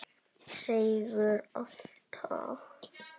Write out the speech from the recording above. Seigur alltaf.